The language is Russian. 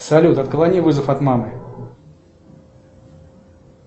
салют отклони вызов от мамы